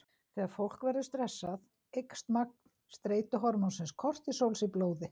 Þegar fólk verður stressað eykst magn streituhormónsins kortisóls í blóði.